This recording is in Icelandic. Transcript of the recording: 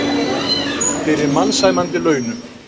Fyrir mannsæmandi launum.